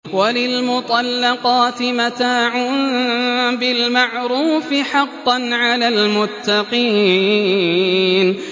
وَلِلْمُطَلَّقَاتِ مَتَاعٌ بِالْمَعْرُوفِ ۖ حَقًّا عَلَى الْمُتَّقِينَ